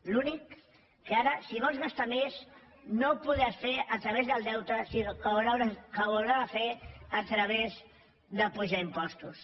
l’únic que ara si vols gastar més no ho podràs fer a través del deute sinó que ho hauràs de fer a través d’apujar impostos